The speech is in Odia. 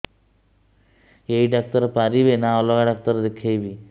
ଏଇ ଡ଼ାକ୍ତର ପାରିବେ ନା ଅଲଗା ଡ଼ାକ୍ତର ଦେଖେଇବି